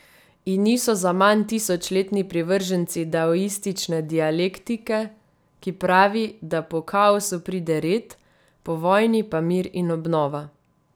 In niso zaman tisočletni privrženci daoistične dialektike, ki pravi, da po kaosu pride red, po vojni pa mir in obnova.